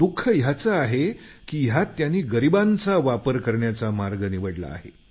दुख याचं आहे की यात त्यांनी गरिबांचा वापर करण्याचा मार्ग निवडला आहे